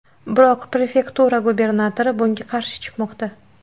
Biroq prefektura gubernatori bunga qarshi chiqmoqda.